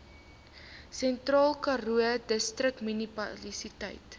sentraalkaroo distriksmunisipaliteit